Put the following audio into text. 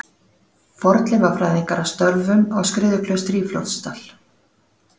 Fornleifafræðingar að störfum á Skriðuklaustri í Fljótsdal.